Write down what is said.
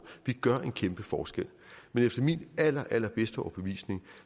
vi gør en kæmpe forskel men efter min allerallerbedste overbevisning